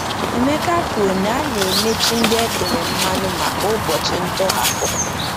Emeka kwuru na a na-emechi ndị e tere mmanụ maka ụbọchị ntọhapụ.